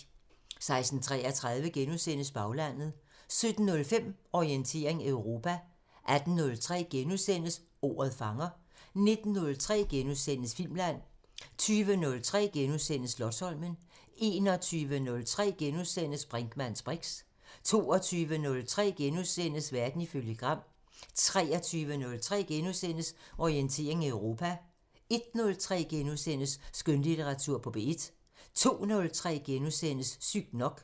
16:33: Baglandet * 17:05: Orientering Europa 18:03: Ordet fanger * 19:03: Filmland * 20:03: Slotsholmen * 21:03: Brinkmanns briks * 22:03: Verden ifølge Gram * 23:03: Orientering Europa * 01:03: Skønlitteratur på P1 * 02:03: Sygt nok *